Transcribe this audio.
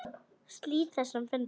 Slít þessum fundi.